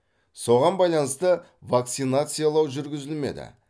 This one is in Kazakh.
соған байланысты вакцинациялау жүргізілмеді